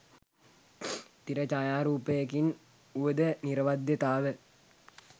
තිර ඡායාරූපයකින් උවද නිරවද්‍යතාව